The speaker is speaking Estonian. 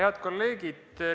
Head kolleegid!